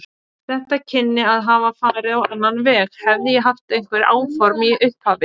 Þetta kynni að hafa farið á annan veg, hefði ég haft einhver áform í upphafi.